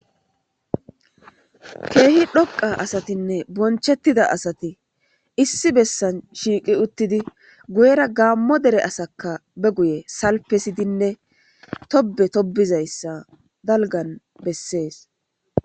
Keehi dhoqqa asatinne bonchchettida asati issi dhoqqa bessan shiiqqi uuttidii guuyera gaammo dere asakka be guuye salippesidinne toobbe toobizayssa dalggan besses